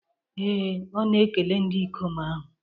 Ee, ọ na-ekele ndị ikom ahụ.